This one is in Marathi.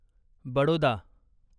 बडोदा